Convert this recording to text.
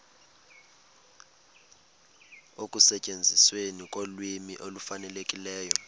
ekusetyenzisweni kolwimi olufanelekileyo